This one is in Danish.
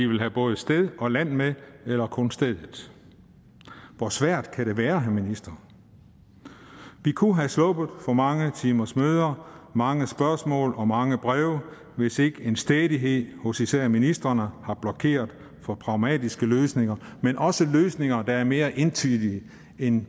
vil have både sted og land med eller kun stedet hvor svært kan det være herre minister vi kunne have sluppet for mange timers møder mange spørgsmål og mange breve hvis ikke en stædighed hos især ministrene havde blokeret for pragmatiske løsninger men også løsninger der er mere entydige end